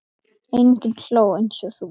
Enginn hló eins og þú.